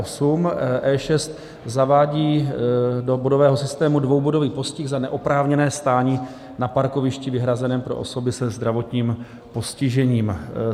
E6 zavádí do bodového systému dvoubodový postih za neoprávněné stání na parkovišti vyhrazeném pro osoby se zdravotním postižením.